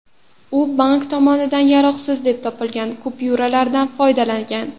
U bank tomonidan yaroqsiz deb topilgan kupyuralardan foydalangan.